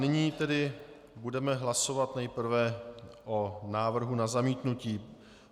Nyní tedy budeme hlasovat nejprve o návrhu na zamítnutí.